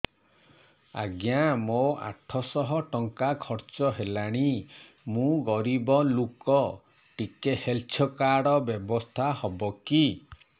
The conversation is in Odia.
ଆଜ୍ଞା ମୋ ଆଠ ସହ ଟଙ୍କା ଖର୍ଚ୍ଚ ହେଲାଣି ମୁଁ ଗରିବ ଲୁକ ଟିକେ ହେଲ୍ଥ କାର୍ଡ ବ୍ୟବସ୍ଥା ହବ କି